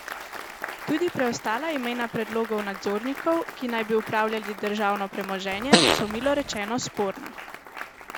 Tudi preostala imena predlogov nadzornikov, ki naj bi upravljali državno premoženje, so milo rečeno sporna.